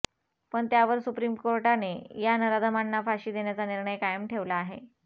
पण त्यावर सुप्रीम कोर्टाने या नराधमांना फाशी देण्याचा निर्णय कामय ठेवला आहे